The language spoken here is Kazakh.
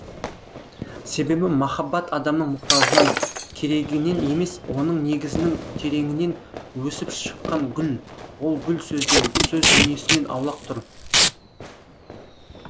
себебі махаббат адамның мұқтажынан керегінен емес оның негізінің тереңінен өсіп шыққан гүл ол гүл сөзден сөз дүниесінен аулақ тұр